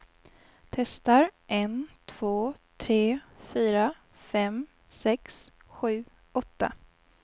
Testar en två tre fyra fem sex sju åtta.